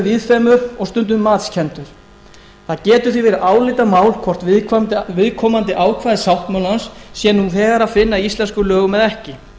víðfeðmur og stundum matskenndur það getur því verið álitamál hvort viðkomandi ákvæði sáttmálans sé nú þegar að finna í íslenskum lögum eða ekki